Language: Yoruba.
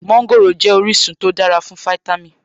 Mọ́ńgòrò jẹ́ orísun tó dára fún fítámì